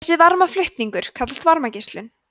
þessi varmaflutningur kallast varmageislun